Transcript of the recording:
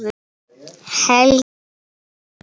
Helgi Rúnar.